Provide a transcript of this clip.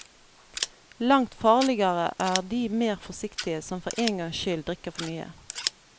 Langt farligere er de mer forsiktige, som for èn gangs skyld drikker for mye.